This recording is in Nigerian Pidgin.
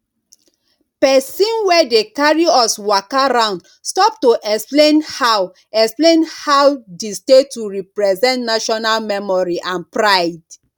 person wey dey carry us waka round stop to explain how explain how di statue represent national memory and pride